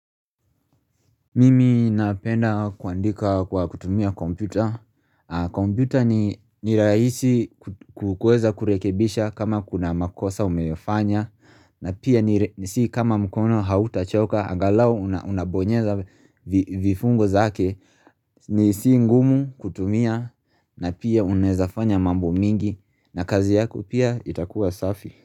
Mimi napenda kuandika kwa kutumia kompyuta, kompyuta ni rahisi kuweza kurekebisha kama kuna makosa umeyafanya na pia si kama mkono hautachoka angalau unabonyeza vifungo zake ni si ngumu kutumia na pia unawezafanya mambo mengi na kazi yako pia itakuwa safi.